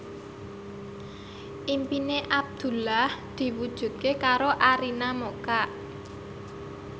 impine Abdullah diwujudke karo Arina Mocca